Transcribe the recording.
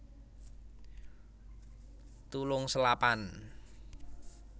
Tulung Selapan